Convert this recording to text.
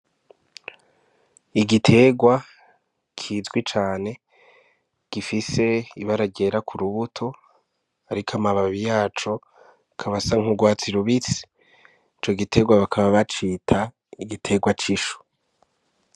Igiterwa kizwi cane gifise ibara ryera ku rubuto ariko amababi yaco akaba asa nk'urwatsi rubisi ico giterwa bakaba bacita igiterwa c'ishu.